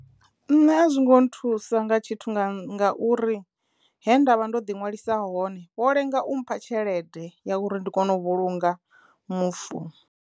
Nṋe a zwi ngo nthusa nga tshithu nga nga uri he ndavha ndo ḓi ṅwalisa hone ho lenga u mpha tshelede ya uri ndi kono u vhulunga mufu.